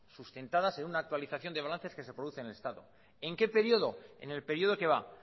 sustentadas en una actualización de balances que se producen en el estado en qué periodo en el periodo que va